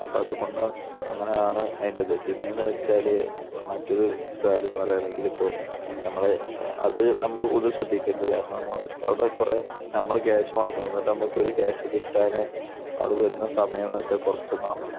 അപ്പോൾ അതുകൊണ്ടാണ് അങ്ങനെയാണ് അതിന്റെ ഇത്. പിന്നെയെന്ന് വെച്ചാൽ മറ്റൊരു കാര്യമെന്ന് പറയുകയാണെങ്കിൽ ഇപ്പോൾ നമ്മൾ അത് നമ്മൾ ഒന്ന് ശ്രദ്ധിക്കേണ്ട കാര്യമാണ്. അവിടെ കുറെ നമ്മുടെ ക്യാഷ് മുടക്കും. എന്നിട്ട് നമുക്ക് കുറെ ക്യാഷ് കിട്ടാനായി അവിടെ വരുന്ന സമയമെന്ന് വെച്ചാൽ കുറച്ചൊന്നുമാവില്ല.